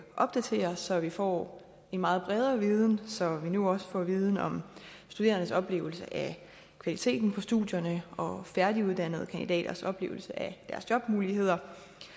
opdateres så vi får en meget bredere viden så vi nu også får viden om de studerendes oplevelse af kvaliteten på studierne og færdiguddannede kandidaters oplevelse af deres jobmuligheder